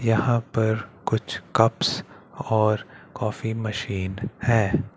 यहां पर कुछ कप्स और कॉफी मशीन हैं।